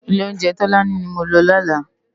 Ilé óunjè Tolani ni mó n lò lòlá